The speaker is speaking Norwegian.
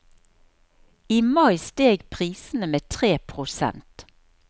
I mai steg prisene med tre prosent.